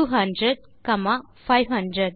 200 comma 500